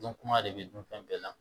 Dɔn kuma de bɛ dun fɛn bɛɛ la